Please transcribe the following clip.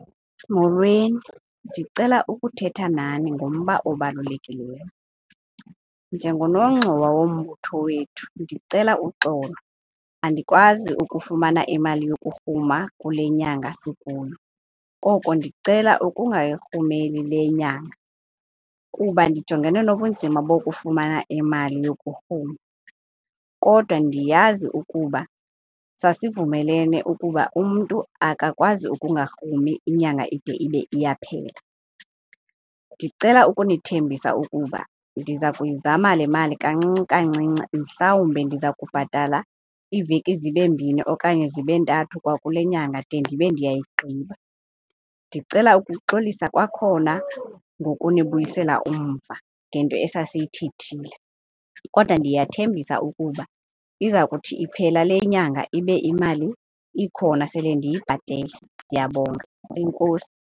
Molweni, ndicela ukuthetha nani ngomba obalulekileyo. Njengonongxowa wombutho wethu ndicela uxolo, andikwazi ukufumana imali yokurhuma kule nyanga sikuyo koko ndicela ukungayirhumeli le inyanga kuba ndijongene nobunzima bokufumana emali yokurhuma. Kodwa ndiyazi ukuba sasivumelene ukuba umntu akakwazi ukungarhumi inyanga ide ibe iyaphela. Ndicela ukunithembisa ukuba ndiza kuyizama le mali kancinci kancinci, mhlawumbe ndiza kubhatala iiveki zibe mbini okanye zibe ntathu kwakule nyanga de ndibe ndiyayigqiba. Ndicela ukuxolisa kwakhona ngokunibuyisela umva ngento esasiyithethile kodwa ndiyathembisa ukuba iza kuthi iphela le inyanga ibe imali ikhona sele ndiyibhatele. Ndiyabonga, enkosi.